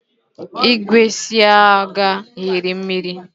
igwe ịsa akwa hiri mmiri